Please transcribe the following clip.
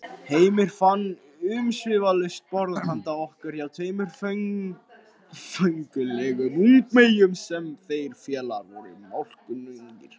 Heimir fann umsvifalaust borð handa okkur hjá tveimur föngulegum ungmeyjum sem þeir félagar voru málkunnugir.